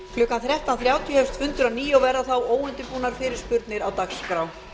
klukkan þrettán þrjátíu hefjast fundir að nýju og verða þá óundirbúnar fyrirspurnir á dagskrá